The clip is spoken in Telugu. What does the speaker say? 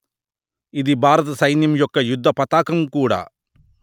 ఇది భారత సైన్యం యొక్క యుద్ధపతాకం కూడా